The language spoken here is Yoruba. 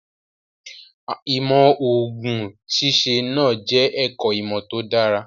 Ìmọ̀ òògùn ṣíṣe náà jẹ́ ẹ̀kọ́ ìmọ̀ tó dára.